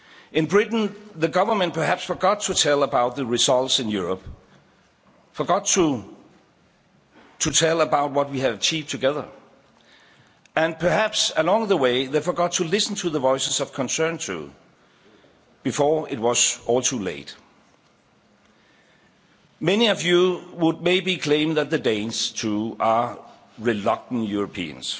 In Britain, the Government perhaps forgot to tell people about the results in Europe, forgot to tell people about what we have achieved together, and perhaps, along the way, they forgot to listen to the voices of concern, too before it was all too late. Many of you would maybe claim that the Danes, too, are reluctant Europeans.